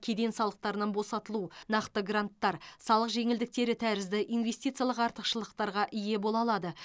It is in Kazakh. кеден салықтарынан босатылу нақты гранттар салық жеңілдіктері тәрізді ивнестициялық артықшылықтарға ие бола алады